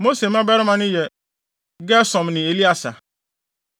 Mose mmabarima no yɛ Gersom ne Elieser.